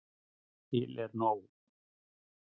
Til er nóg.